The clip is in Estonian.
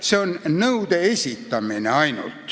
– see on nõude esitamine.